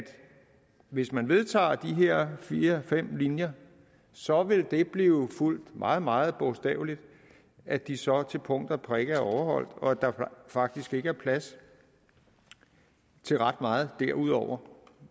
hvis man vedtager de her fire fem linjer så vil det blive fulgt meget meget bogstaveligt at de så til punkt og prikke er overholdt og at der faktisk ikke er plads til ret meget derudover